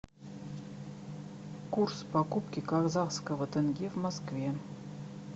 курс покупки казахского тенге в москве